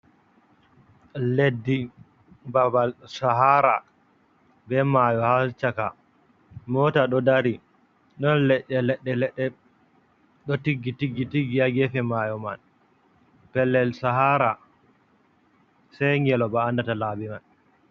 Leddi babal sahara, be maayo ha caka moota, do dari ɗon leɗɗe leɗɗe leɗɗe, ɗo tiggi tiggi tiggi haa geefe maayo man. Pellel sahara sey ngelooba andata laabi man.